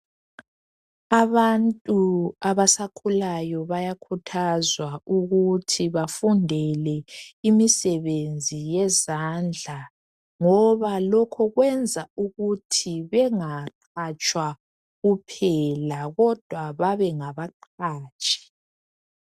Abantu abasakhulayo bayakhuthazwa ukuthi bafundela imisebenzi yezandla ngoba lokho kwenza ukuthi bengaqhatshwa kuphela kodwa bebe ngabaqhatshi.